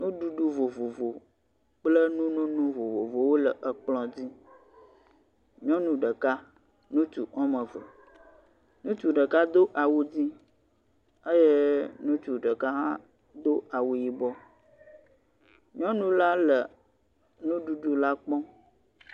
Nuɖuɖu vovovo kpl nunono vovovowo le kplɔ dzi, nyɔnu ɖeka ŋutsuwoame eve, ŋutsu ɖeka do awu dzɛ̃ eye ŋutsu ɖeka hã do awu yibɔ, nyɔnu la le nuɖuɖu la kpɔm.